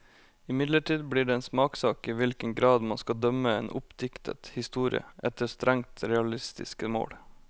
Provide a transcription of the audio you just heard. Imidlertid blir det en smakssak i hvilken grad man skal dømme en oppdiktet historie efter strengt realistiske mål.